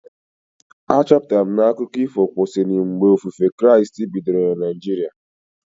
A chọpụtara m na akụkọ ifo kwesịrị mgbe ofufe Kraịst bidoro na Naijiria